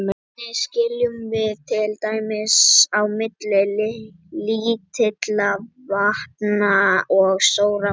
Hvernig skiljum við til dæmis á milli lítilla vatna og stórra polla?